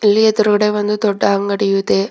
ಇಲ್ಲಿ ಎದ್ರುಡೆ ಒಂದು ದೊಡ್ಡ ಅಂಗಡಿಯೂ ಇದೆ.